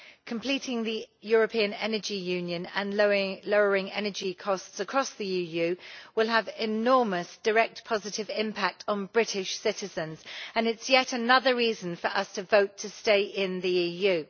Completing the European Energy Union and lowering energy costs across the EU will have an enormous direct positive impact on British citizens, and it is yet another reason for us to vote to stay in the EU.